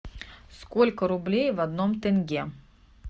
сколько рублей в одном тенге